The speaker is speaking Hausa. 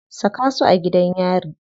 Saka su a gidan yari.